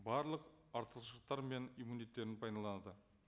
барлық артықшылықтар мен пайдаланады